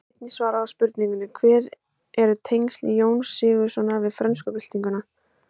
Hér er einnig svarað spurningunni: Hver eru tengsl Jóns Sigurðssonar við frönsku byltinguna?